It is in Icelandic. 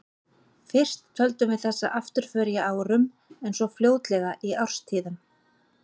Fyrst töldum við þessa afturför í árum, en svo fljótlega í árstíðum.